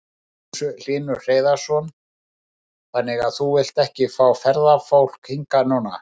Magnús Hlynur Hreiðarsson: Þannig að þú vilt ekki fá ferðafólk hingað núna?